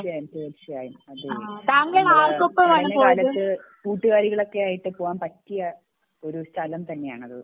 തീർച്ചയായും തീർച്ചയായും അത് നമ്മളെ കാലത്ത് കൂട്ടുകാരികളും ഒക്കെ ആയിട്ട് പോകാൻ പറ്റിയ ഒരു സ്ഥലം തന്നെ ആണ് അത്